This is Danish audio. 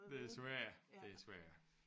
Desværre desværre